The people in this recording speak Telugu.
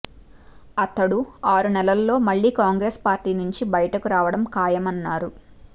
అతడు ఆరు నెలల్లో మళ్లీ కాంగ్రెస్ పార్టీ నుంచి బయటకు రావడం ఖాయమన్నారు